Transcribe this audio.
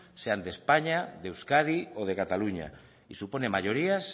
sean de españa de euskadi o de cataluña y supone mayorías